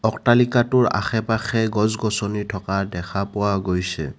অট্টালিকাটোৰ আশে-পাশে গছ-গছনি থকা দেখা পোৱা গৈছে।